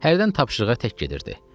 Hərdən tapşırığa tək gedirdi.